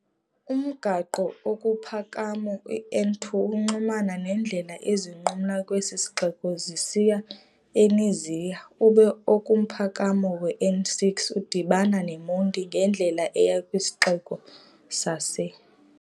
Umgaqo okumphakamo iN2 uxhumana neendlela ezinqumla kwesi sixeko zisiya e] neziya, ube okumphakamo weN6 udibana neMonti ngendlela eya kwisixeko sase].